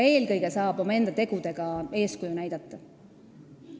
Eelkõige saab omaenda tegudega eeskuju näidata.